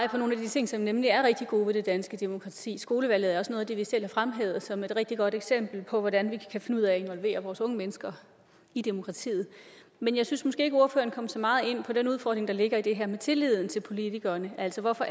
ting som nemlig er rigtig gode ved det danske demokrati skolevalget er også noget af det vi selv har fremhævet som et rigtig godt eksempel på hvordan vi kan finde ud af at involvere vores unge mennesker i demokratiet men jeg synes måske ikke at ordføreren kom så meget ind på den udfordring der ligger i det her med tilliden til politikerne altså hvorfor